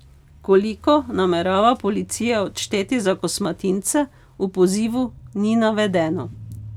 Koliko namerava policija odšteti za kosmatince, v pozivu ni navedeno.